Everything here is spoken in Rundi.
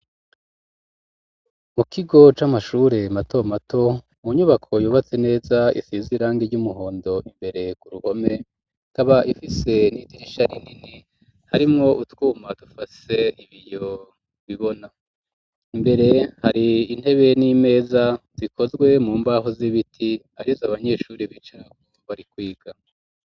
Mu kigo c'amashure mato mato mu nyubako yubatse neza isizwe irangi ry'umuhondo imbere ku ruhome ikaba ifise n'idirisha rinini harimwo utwuma dufashe ibiyo bibona, imbere hari intebe n'imeza zikozwe mu mbaho z'ibiti arizo abanyeshuri bicarako barikwiga.